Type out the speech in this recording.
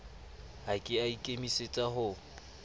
ha ke a ikemisetsa ho